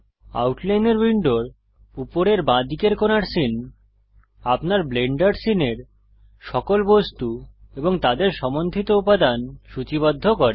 আউটলাইনর উইন্ডোর উপরের বাঁদিকের কোণার সীন আপনার ব্লেন্ডার সীনের সকল বস্তু এবং তাদের সম্বন্ধিত উপাদান সূচীবদ্ধ করে